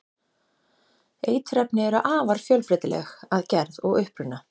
eiturefni eru afar fjölbreytileg að gerð og uppruna